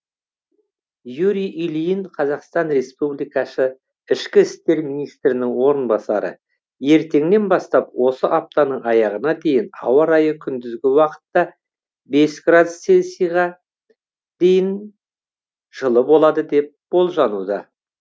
юрий ильин қазақстан республикасы ішкі істер министрінің орынбасары ертеңнен бастап осы аптаның аяғына дейін ауа райы күндізгі уақытта бес градус селсиға дейін жылы болады деп болжануда